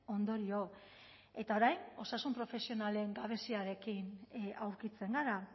ondorio eta orain osasun profesionalen gabeziarekin aurkitzen gara